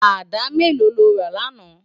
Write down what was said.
Àdá méló ló rá làná?